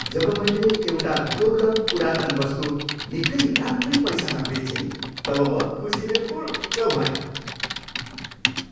जब मैले एउटा दुर्लभ पुरातन वस्तु निकै राम्रै पैसामा बेचेँ तब म खुसीले फुरुक्क भएँ।